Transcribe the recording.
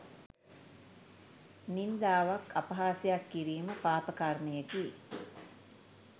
නින්දාවක් අපහාසයක් කිරීම පාපකර්මයකි.